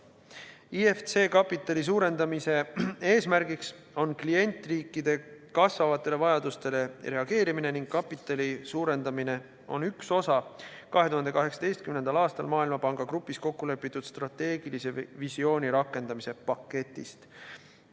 IFC kapitali suurendamise eesmärk on klientriikide kasvavatele vajadustele reageerimine ning kapitali suurendamine on üks osa 2018. aastal Maailmapanga grupis kokkulepitud strateegilise visiooni rakendamise paketist.